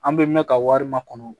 An bɛ mɛn ka wari makɔnɔ